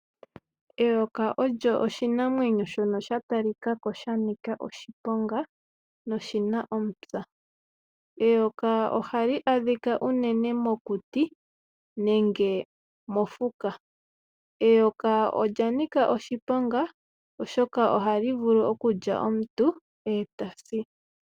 Eyoka olyo oshinamwenyo shono sha talikako shanika oshiponga noshina omupya. Eyoka ohali adhika uunene mokuti nenge mofuka. Eyoka olya nika oshiponga oshoka ohali vulu okulya omuntu eta si.